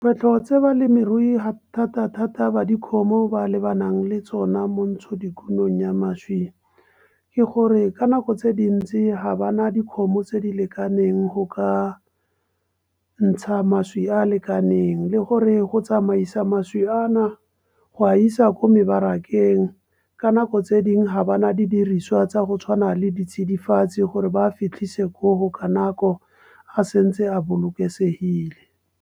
Dilo tse balemirui thata-thata ba dikgomo ba lebanang le tsona, mo ntshodikumong ya mašwi. Ke gore ka nako tse dintsi ga bana dikgomo tse di lekaneng go ka ntsha mašwi a lekaneng. Le gore go tsamaisa mašwi a na go a isa kwa mebarakeng. Ka nako tse dingwe ga bana didiriswa tsa go tshwana le ditsidifatsi, gore ba fitlhise koo ka nako a se ntse a bolokesegile.